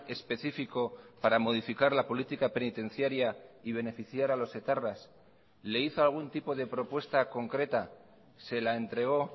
específico para modificar la política penitenciaria y beneficiar a los etarras le hizo algún tipo de propuesta concreta se la entregó